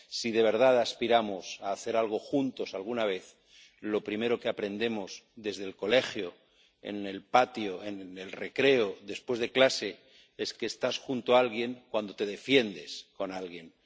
Si de verdad aspiramos a hacer algo juntos alguna vez, lo primero que aprendemos desde el colegio, en el patio, en el recreo, después de clase, es que estás junto a alguien cuando te defiendes con alguien.